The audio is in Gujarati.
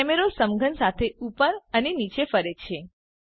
કેમેરો સમઘન સાથે ઉપર અને નીચે ફરે છે